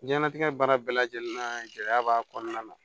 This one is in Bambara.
Diɲɛnnatigɛ baara bɛɛ lajɛlen gɛlɛya b'a kɔnɔna na